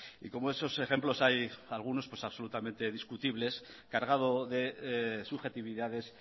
y como estos ejemplos hay algunos absolutamente discutibles cargados de subjetividades